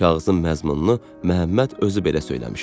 Kağızın məzmununu Məhəmməd özü belə söyləmişdi: